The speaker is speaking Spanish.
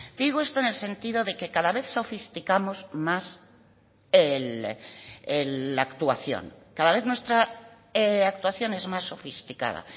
digo esto en el sentido de que cada vez sofisticamos más la actuación cada vez nuestra actuación es más sofisticada